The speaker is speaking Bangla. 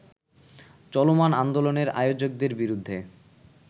চলমান আন্দোলনের আয়োজকদের বিরুদ্ধে